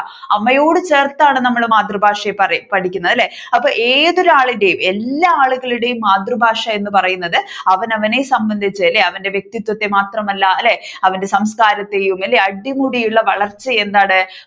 അമ്മയോട് ചേർത്താണ് നമ്മൾ മാതൃഭാഷയെ പഠിക്കുന്നത് അല്ലെ അപ്പൊ ഏതൊരാളിന്റെയും എല്ലാ ആളുകളുടെയും മാതൃഭാഷ എന്ന് പറയുന്നത് അവനവനെ സംബന്ധിച്ച് അല്ലെ വ്യക്തിത്വത്തെ മാത്രമല്ല അല്ലെ അവന്റെ സംസാരത്തെയും അല്ലെ അടിമുടിയുള്ള വളർച്ച എന്താണ്